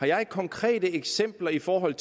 jeg har konkrete eksempler i forhold